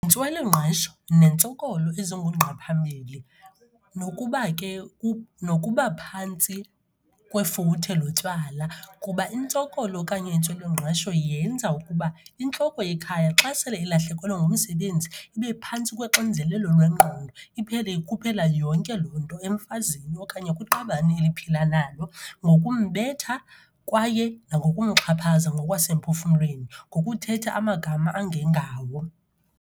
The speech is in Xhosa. Yintswelangqesho nentsokolo ezingungqa phambili nokuba ke nokuba phantsi kwefuthe lotywala. Kuba intsokolo okanye intswelangqesho yenza ukuba intloko yekhaya xa sele ilahlekelwe ngumsebenzi ibe phantsi kwexinzelelo lwengqondo. Iphele ikhuphela yonke loo nto emfazini okanye kwiqabane eliphila nalo ngokumbetha kwaye nangokumxhaphaza ngokwasemphefumlweni, ngokuthetha amagama angengawo.